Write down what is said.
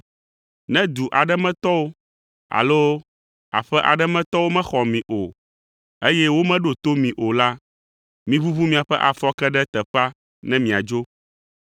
Ne du aɖe me tɔwo alo aƒe aɖe me tɔwo mexɔ mi o, eye womeɖo to mi o la, miʋuʋu miaƒe afɔke ɖe teƒea ne miadzo.